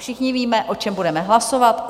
Všichni víme, o čem budeme hlasovat.